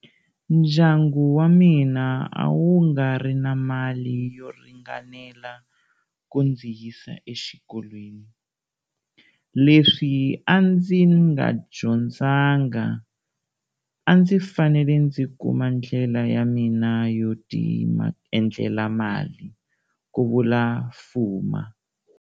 Ndyangu wa mina a wu nga ri na mali yo ringanela ku ndzi yisa exikolweni. Leswi a ndzi nga dyondzanga, a ndzi fanele ndzi kuma ndlela ya mina yo tiendlela mali, ku vula Fuma.